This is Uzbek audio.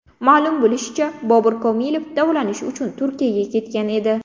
Ma’lum bo‘lishicha, Bobur Komilov davolanish uchun Turkiyaga ketgan edi.